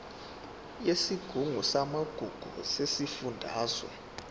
yesigungu samagugu sesifundazwe